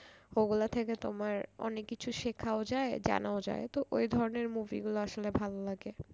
ওগুলা থেকে তোমার অনেক কিছু শেখাও যায় জানাও যায় তো ওই ধরনের movie গুলো আসলে ভালো লাগে।